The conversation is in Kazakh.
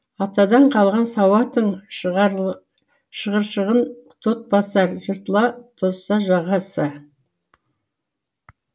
атадан қалған сауатың шығыршығын тот басар жыртыла тозса жағасы